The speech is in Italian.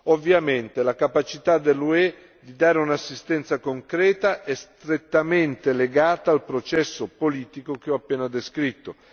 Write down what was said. Ovviamente, la capacità dell'UE di dare un'assistenza concreta è strettamente legata al processo politico che ho appena descritto.